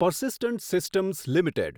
persistent Systems limited